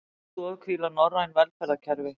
Á þeirri stoð hvíla norræn velferðarkerfi